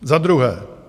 Za druhé.